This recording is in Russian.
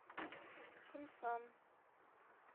кунсан